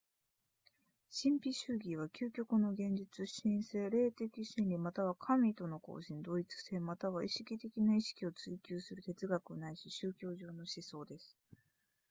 神秘主義は究極の現実神性霊的真理または神との交信同一性または意識的な意識を追求する哲学なしい宗教上の思想です